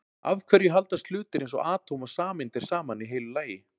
af hverju haldast hlutir eins og atóm og sameindir saman í heilu lagi